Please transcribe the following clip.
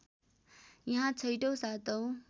यहाँ छैटौँ सातौँ